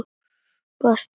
Varðst að fara.